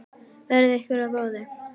Verði ykkur að góðu.